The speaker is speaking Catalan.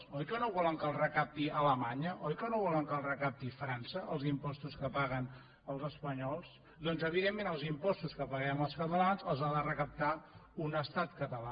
oi que no volen que els recapti alemanya oi que no volen que els recapti frança els impostos que paguen els espanyols doncs evidentment els impostos que paguem els catalans els ha de recaptar un estat català